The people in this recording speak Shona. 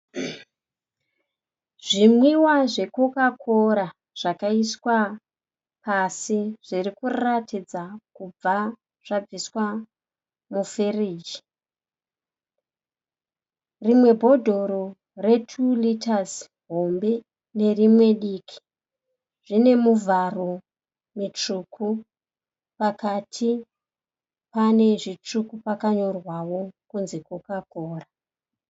Zvimwiwa zveCoca Cola zvakaiswa pasi zviri kuratidza kubva zvabviswa mufiriji. Rimwe bhodhoro re2 rita hombe nerimwe diki rine mivharo mitsvuku. Pakati pane zvitsvuku pakanyorwawo kunzi Coca Cola.